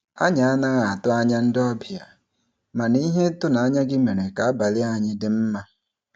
Anyị anaghị atụ anya ndị obịa, mana ihe ịtụnanya gị mere ka abalị anyị dị mma.